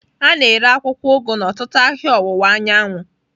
A na-ere akwụkwọ ugu n'ọtụtụ ahịa ọwụwa anyanwụ.